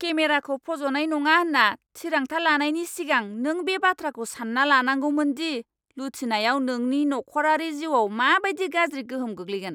केमेराखौ फज'नाय नङा होनना थिरांथा लानायनि सिगां नों बे बाथ्राखौ सान्ना लानांगौमोन दि लुथिनायाव नोंनि नख'रारि जिउआव मा बायदि गाज्रि गोहोम गोग्लैगोन।